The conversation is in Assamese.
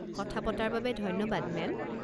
কথা পতাৰ বাবে ধন্যবাদ, মেম।